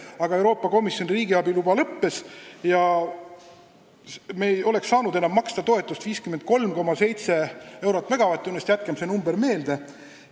Paraku Euroopa Komisjoni riigiabi loa aeg lõppes ja me ei oleks saanud enam maksta toetust 53,7 eurot megavatt-tunnist – jätkem see number meelde!